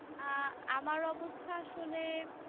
আহ আমার অবস্থা আসলে